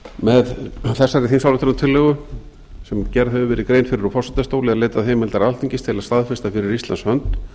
með þessari þingsályktunartillögu sem gerð hefur verið grein fyrir úr forsetastóli er leitað heimildar alþingis til að staðfesta fyrir íslands hönd